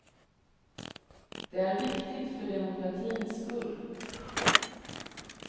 Det är viktigt för demokratins skull.